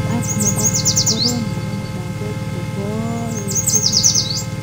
Ak nemokorom nenome logok chekoechekitun.